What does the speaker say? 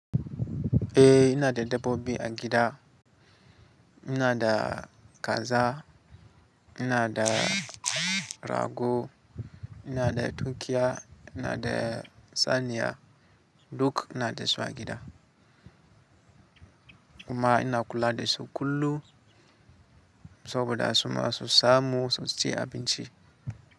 Eh ina da dabbobi a gida. Ina da kaza, ina da rago, ina da tunkiya, ina da saniya, duk ina da su a gida. Kuma ina kula da su kullum saboda su ma su samu su ci abinci.